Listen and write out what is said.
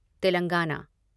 Telangana